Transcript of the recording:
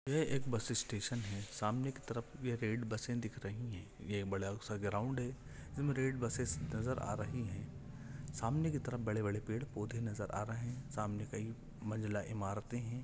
ये एक bus station है। सामने कि तरफ ये रेड बसे दिख रही है। ये बड़ा सा ग्राउंड है इनमे रेड बसेस नजर आ रही है। सामने की तरफ बड़े बड़े पेड़ पौधे नजर आ रहे है। सामने कई मंज़िला इमारते है।